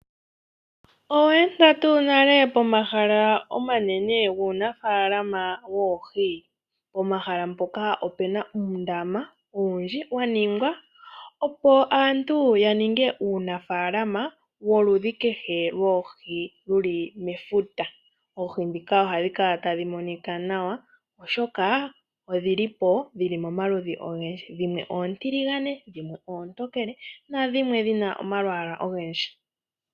Owa etha tuu nale pomahala guunafaalama woohi? Pomahala mpoka opuna uundama owundji waningwa opo aantu yaninge uunafaalama woludhi kehe lwoohi dhili mefuta. Oohi dhika ohadhi kala tadhi monika nawa oshoka odhilipo dhili momaludhi ogendji dhimwe oontiligane, dhimwe oontokele nadhimwe dhina omalwaala ogendji.